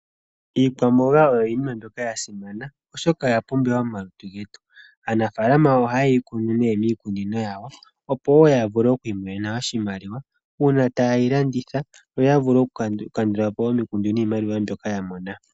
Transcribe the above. Iikwamboga oyo iinima mbyoka yasimana oshoka oyo oya pumbiwa momalutu getu. Aanafalama oha yeyi kunu nee miikunino yawo opo wo ya vule okwi imonena oshimaliwa una tayeyi landitha yo ya vule oku kandulapo omikundu niimaliwa mbyoka yamona.